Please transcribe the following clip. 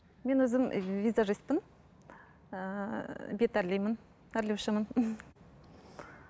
мен өзім визажистпін ііі бет әрлеймін әрлеушімін